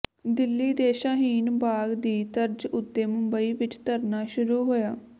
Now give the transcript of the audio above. ਦਿੱਲੀ ਦੇ ਸ਼ਾਹੀਨ ਬਾਗ ਦੀ ਤਰਜ਼ ਉੱਤੇ ਮੁੰਬਈ ਵਿੱਚ ਧਰਨਾ ਸ਼ੁਰੂ ਹੋਇਆ